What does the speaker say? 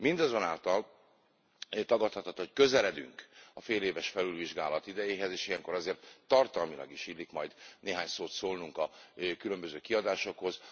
Mindazonáltal tagadhatatlan, hogy közeledünk a féléves felülvizsgálat idejéhez, és ilyenkor azért tartalmilag is illik majd néhány szót szólnunk a különböző kiadásokhoz.